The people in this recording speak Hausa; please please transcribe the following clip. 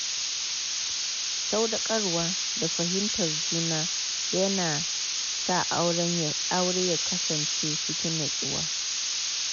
Sadaukarwa da fahimtar juna yana sa auren ya kasance cikin nutsuwa.